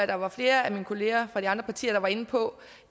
der var flere af mine kollegaer fra de andre partier der var inde på